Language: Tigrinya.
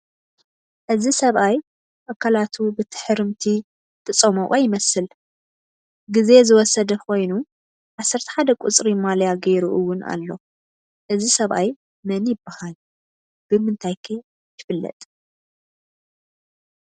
እዚ ሰብኣይ ኣካላቱ ብትሕርምቲ ዝተፀሞቐ ይመስል፡፡ ጊዜ ዝወሰደ ኾይኑ 11 ቁፅሪ ማልያ ገይሩ ውን ኣሎ፡፡ እዚ ሰብኣይ መን ይባሃል? ብምንታይ ከ ይፍለጥ?